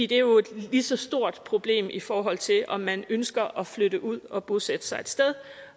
det er jo et lige så stort problem i forhold til om man ønsker at flytte ud og bosætte sig et sted